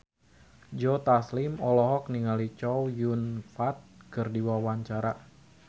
Joe Taslim olohok ningali Chow Yun Fat keur diwawancara